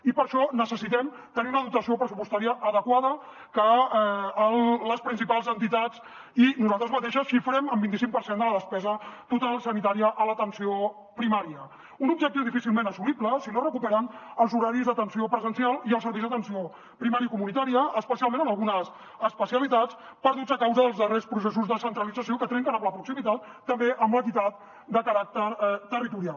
i per a això necessitem tenir una dotació pressupostària adequada que les principals entitats i nosaltres mateixes xifrem en el vint i cinc per cent de la despesa total sanitària a l’atenció primària un objectiu difícilment assolible si no es recuperen els horaris d’atenció presencial i els serveis d’atenció primària i comunitària especialment en algunes especialitats perdudes a causa dels darrers processos de centralització que trenquen amb la proximitat i també amb l’equitat de caràcter territorial